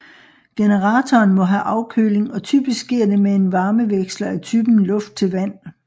Generatoren må have afkøling og typisk sker det med en varmeveksler af typen luft til vand